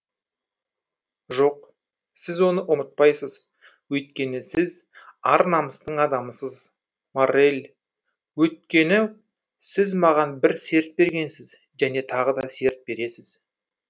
жоқ сіз оны ұмытпайсыз өйткені сіз ар намыстың адамысыз моррель өйткені сіз маған бір серт бергенсіз және тағы да серт бересіз